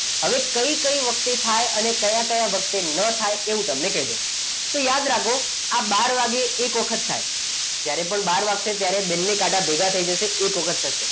હવે કઈ કઈ વખતે થાય અને કયા કયા વખતે ન થાય એવું તમને કહી દઉં એ તો યાદ રાખો આ બાર વાગે એક વખત થાય જ્યારે પણ બાર વાગશે ત્યારે બંને કાંટા ભેગા થઈ જશે એક વખત થશે